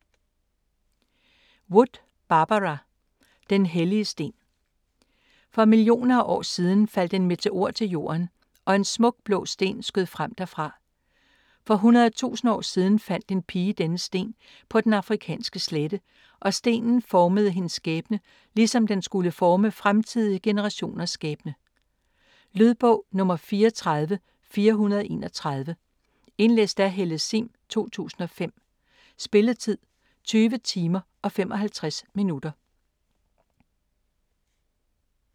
Wood, Barbara: Den hellige sten For millioner af år siden faldt et meteor til jorden og en smuk blå sten skød frem derfra. For hundredetusind år siden fandt en pige denne sten på den afrikanske slette, og stenen formede hendes skæbne ligesom den skulle forme fremtidige generationers skæbne. Lydbog 34431 Indlæst af Helle Sihm, 2005. Spilletid: 20 timer, 55 minutter.